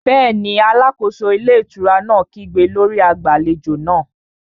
Bẹ́ẹ̀ni, alákóso ilé ìtura náà kígbe lórí agbàlejò náà